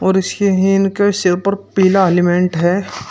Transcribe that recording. और इसके के सिर पर पीला हेलिमेंट है।